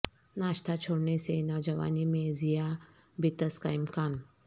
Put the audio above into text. ناشتہ چھوڑنے سے نوجوانی میں ذ یا بیطس کا امکان